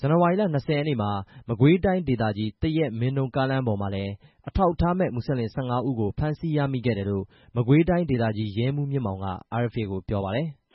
ဇန်နဝါရီလ ၂၀ ရက်နေ့မှာ မကွေးတိုင်းဒေသကြီး သရက် - မင်းတုန်းကားလမ်းမပေါ်မှာ အထောက်အထားမဲ့ မွတ်စလင် ၁၅ ဦးကို ဖမ်းဆီးရမိခဲ့တယ်လို့ မကွေးတိုင်းဒေသကြီး ရဲမှူး မြင့်မောင်က RFA ကို ပြောပါတယ်။